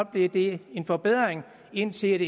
blev det en forbedring indtil